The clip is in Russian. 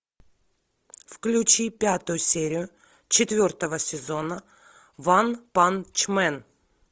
включи пятую серию четвертого сезона ванпанчмен